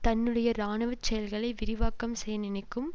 தன்னுடைய இராணுவ செயல்களை விரிவாக்கம் செய்ய நினைக்கும்